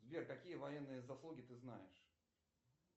сбер какие военные заслуги ты знаешь